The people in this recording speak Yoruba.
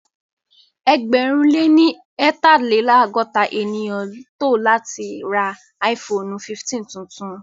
Ẹgbẹ̀rún lé ní eetalelogota ènìyàn tò láti ra áífoonu 15 tuntun